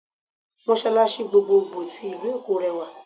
Mọ́sàlàṣí gbogboògbò tí ìlú-Èkó rẹwà